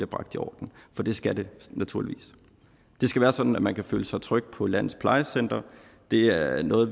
bragt i orden for det skal de naturligvis det skal være sådan at man kan føle sig tryg på landets plejecentre det er noget